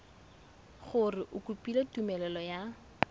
gore o kopile tumelelo ya